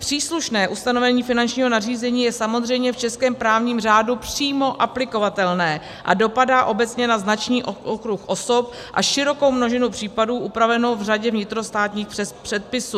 Příslušné ustanovení finančního nařízení je samozřejmě v českém právním řádu přímo aplikovatelné a dopadá obecně na značný okruh osob a širokou množinu případů upravenou v řadě vnitrostátních předpisů.